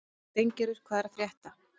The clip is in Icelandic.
Steingerður, hvað er að frétta?